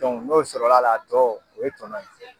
n'o sɔrɔla la a tɔ o ye tɔnɔ ye.